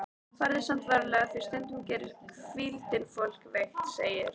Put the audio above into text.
Farðu samt varlega því stundum gerir hvíldin fólk veikt, segir